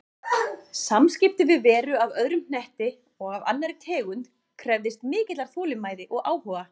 Samskipti við veru af öðrum hnetti og af annarri tegund krefðist mikillar þolinmæði og áhuga.